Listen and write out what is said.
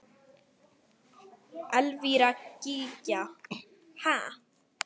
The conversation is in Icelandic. Elvíra Gýgja: Ha?